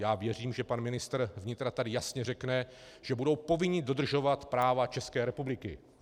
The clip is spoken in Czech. Já věřím, že pan ministr vnitra tady jasně řekne, že budou povinni dodržovat právo České republiky.